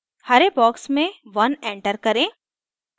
हरे box में 1 enter करें